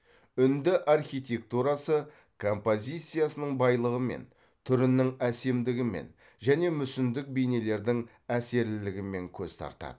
үнді архитектурасы композициясының байлығымен түрінің әсемдігімен және мүсіндік бейнелердің әсерлілігімен көз тартады